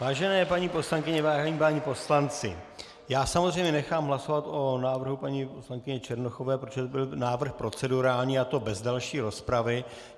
Vážené paní poslankyně, vážení páni poslanci, já samozřejmě nechám hlasovat o návrhu paní poslankyně Černochové, protože to byl návrh procedurální, a to bez další rozpravy.